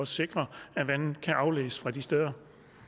sikre at vandet kan afledes fra de steder